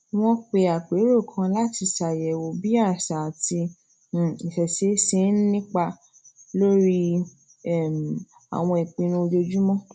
wọn pe apero kan láti ṣàyèwò bí àṣà àti um isese ṣe ń nípa lórí um àwọn ìpinnu ojoojúmọ